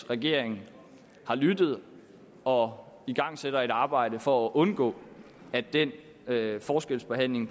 regeringen har lyttet og igangsætter et arbejde for at undgå at den forskelsbehandling